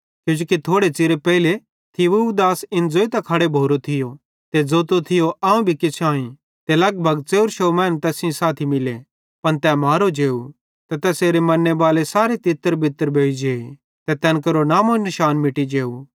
किजोकि थोड़े च़िरे पेइले थियूदास इन ज़ोइतां खड़ो भोरो थियो ते ज़ोतो थियो अवं भी किछ आई ते लगभग 400 मैनू तैस सेइं मिले पन तै मारो जेव ते तैसेरे मन्नेबाले सारे तितरबितर भोइ जे ते तैन केरो नामो निशान मिटी जेव